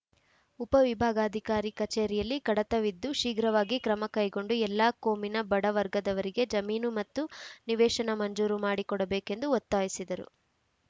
ಉಪವಿಭಾಗಾಧಿಕಾರಿ ಕಚೇರಿಯಲ್ಲಿ ಕಡತವಿದ್ದು ಶೀಘ್ರವಾಗಿ ಕ್ರಮ ಕೈಗೊಂಡು ಎಲ್ಲಾ ಕೋಮಿನ ಬಡ ವರ್ಗದವರಿಗೆ ಜಮೀನು ಮತ್ತು ನಿವೇಶನ ಮಂಜೂರು ಮಾಡಿ ಕೊಡಬೇಕೆಂದು ಒತ್ತಾಯಿಸಿದರು